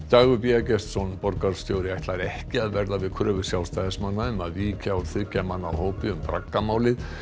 Dagur b Eggertsson borgarstjóri ætlar ekki að verða við kröfu Sjálfstæðismanna um að víkja úr þriggja manna hópi um braggamálið